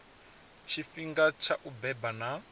tshifhinga tsha u beba na